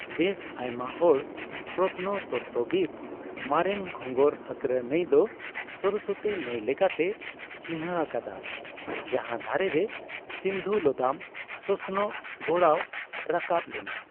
ᱵᱮᱥ ᱟᱭᱢᱟ ᱦᱚᱲ ᱯᱨᱚᱛᱱᱚ ᱛᱚᱛᱛᱚᱵᱤᱫᱽ ᱢᱟᱨᱮᱱ ᱜᱷᱚᱸᱜᱚᱨᱼᱦᱟᱠᱨᱟ ᱱᱟᱹᱭ ᱫᱚ ᱥᱚᱨᱚᱥᱚᱛᱤ ᱱᱟᱹᱭ ᱞᱮᱠᱟᱛᱮ ᱪᱤᱱᱦᱟ ᱟᱠᱟᱫᱟ, ᱡᱟᱦᱟᱸ ᱫᱷᱟᱨᱮᱨᱮ ᱥᱤᱱᱫᱷᱩ ᱞᱚᱫᱟᱢ ᱥᱚᱥᱚᱱᱚᱜ ᱜᱚᱲᱟᱣ ᱨᱟᱠᱟᱵ ᱞᱮᱱᱟ ᱾